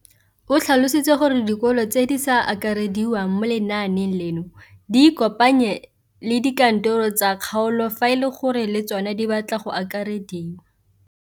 O tlhalositse gore dikolo tse di sa akarediwang mo lenaaneng leno di ikopanye le dikantoro tsa kgaolo fa e le gore le tsona di batla go akarediwa.